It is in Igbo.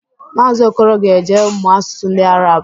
Maazi Okoro ga-eje mụọ asụsụ ndị Arab